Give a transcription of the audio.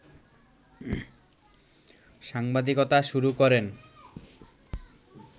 সাংবাদিকতা শুরু করেন